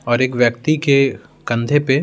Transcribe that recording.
और एक व्यक्ति के कंधे पे--